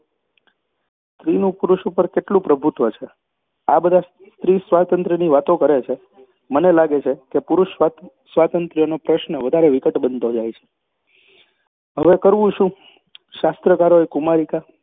સ્ત્રીનું પુરુષ ઉપર કેટલું પ્રભુત્વ છે આ બધા સ્ત્રીસ્વાતંત્ર્યની વાતો કરે છે. મને લાગે છે કે પુરુષસ્વાતંત્ર્યનો પ્રશ્ન વધારે વિકટ બનતો જાય છે હવે કરવું શું શાસ્ત્રકારોએ કુમારિકા